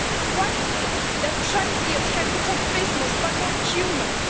Why is it that trade deals can protect business but not humans?